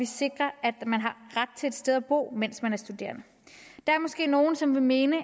sikre at man har ret til et sted at bo mens man er studerende der er måske nogle som vil mene at